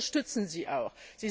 Und wir unterstützen sie auch.